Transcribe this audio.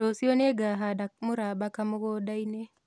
Rũciũ nĩngahanda mũramba kamũgũnda-inĩ